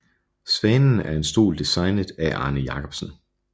Svanen er en stol designet af Arne Jacobsen